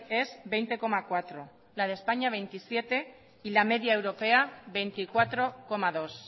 es veinte coma cuatro la de españa veintisiete y la media europea veinticuatro coma dos